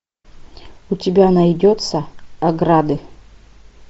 у тебя найдется ограды